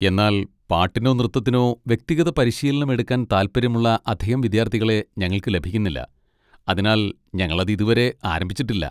എന്നാൽ പാട്ടിനോ നൃത്തത്തിനോ വ്യക്തിഗത പരിശീലനം എടുക്കാൻ താൽപ്പര്യമുള്ള അധികം വിദ്യാർത്ഥികളെ ഞങ്ങൾക്ക് ലഭിക്കുന്നില്ല, അതിനാൽ ഞങ്ങൾ അത് ഇതുവരെ ആരംഭിച്ചിട്ടില്ല.